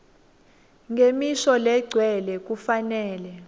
ngemisho legcwele kufanele